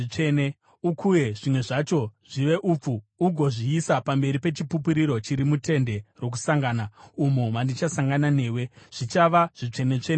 Ukuye zvimwe zvacho zvive upfu ugozviisa pamberi peChipupuriro chiri muTende Rokusangana, umo mandichasangana newe. Zvichava zvitsvene-tsvene kwauri.